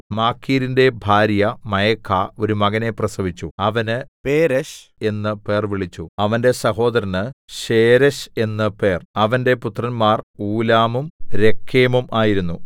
മാഖീരിന്റെ ഭാര്യ മയഖാ ഒരു മകനെ പ്രസവിച്ചു അവന് പേരെശ് എന്നു പേർവിളിച്ചു അവന്റെ സഹോദരന് ശേരെശ് എന്നു പേർ അവന്റെ പുത്രന്മാർ ഊലാമും രേക്കെമും ആയിരുന്നു